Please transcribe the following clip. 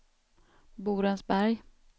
Borensberg